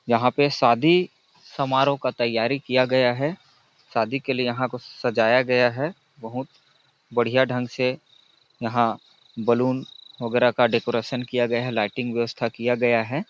यहाँ पे शादी समारोह का तैयारी किया गया है शादी के लिए यहाँ को सजाया गया है बहुत बढ़िया ढ़ंग से यहाँ बलून वगैरा का डेकोरेशन किया गया है लाइटिंग व्यवस्था किया गया है।